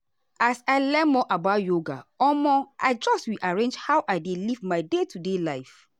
as i learn more about yoga omo i just rearrange how i dey live my day-to-day life.